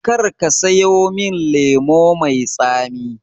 Karka sayo min lemo mai tsami